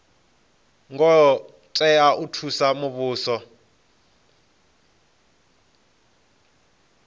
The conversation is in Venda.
ngo tea u thusa muvhuso